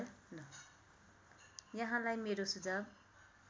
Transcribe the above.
यहाँलाई मेरो सुझाव